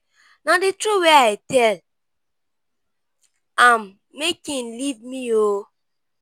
na the truth wey i tell am make him leave me oo